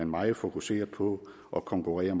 meget fokuserer på at konkurrere